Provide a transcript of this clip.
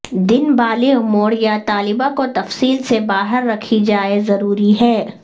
دن بالغ موڈ یا طالبہ کو تفصیل سے باہر رکھی جائے ضروری ہے